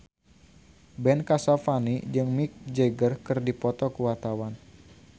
Ben Kasyafani jeung Mick Jagger keur dipoto ku wartawan